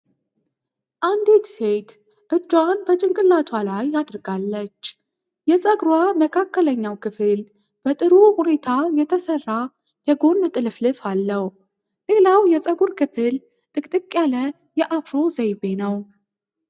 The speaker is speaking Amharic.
አንዲት ሴት እጇን በጭንቅላቷ ላይ አድርጋለች። የፀጉሯ መካከለኛው ክፍል በጥሩ ሁኔታ የተሰራ የጎን ጥልፍልፍ አለው። ሌላው የፀጉር ክፍል ጥቅጥቅ ያለ የአፍሮ ዘይቤ ነው።